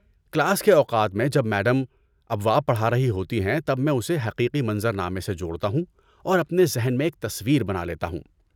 Class کے اوقات میں جب میڈم ابواب پڑھا رہی ہوتی ہیں تب میں اسے حقیقی منظر نامے سے جوڑتا ہوں اور اپنے ذہن میں ایک تصویر بنا لیتا ہوں۔